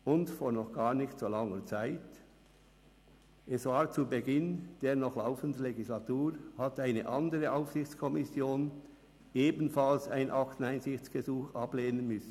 Und vor noch nicht so langer Zeit, es war zu Beginn der noch laufenden Legislaturperiode, hat eine andere Aufsichtskommission ebenfalls ein Akteneinsichtsgesuch ablehnen müssen.